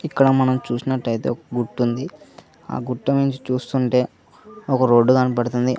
ఇక్కడ మనం చూసినట్లయితే గుట్టు ఉంది ఆ ఆ గుట్ట నుంచి చూస్తుంటే ఒక రోడ్డు కనబడుతుంది.